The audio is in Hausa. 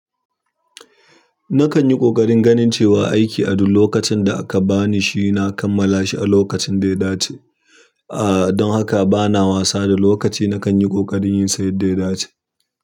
Nakan yi ƙoƙarin ganin cewa a aiki a duk lokacin da aka bani shi, na kammala shi a lokacin da ya dace. Aaa, don haka bana wasa da lokaci. Nakan yi ƙoƙari in san yadda ya dace.